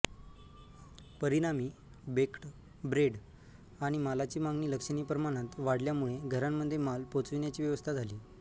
परिणामी baked bread आणि मालाची मागणी लक्षणीय प्रमाणात वाढल्यामुळे घरांमध्ये माल पोचविण्याची व्यवस्था झाली